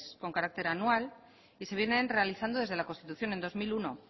con carácter anual y se vienen realizando desde la constitución en dos mil uno